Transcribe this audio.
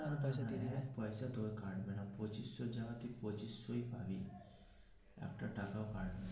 না না এক পয়সা তোর কাটবে না পঁচিশ এর জাগায় পঁচিশ পাবি একটা টাকাও কাটবে না.